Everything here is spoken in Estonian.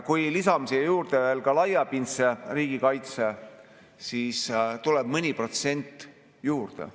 Kui lisame siia juurde veel laiapindse riigikaitse, siis tuleb mõni protsent juurde.